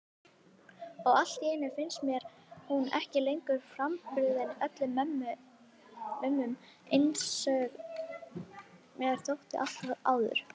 Og alltíeinu finnst mér hún ekki lengur frábrugðin öðrum mömmum einsog mér þótti alltaf áður.